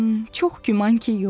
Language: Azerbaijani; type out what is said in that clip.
Çox güman ki, yox.